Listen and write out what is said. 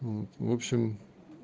вот в общем